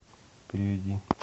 переведи